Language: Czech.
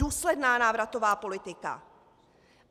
Důsledná návratová politika.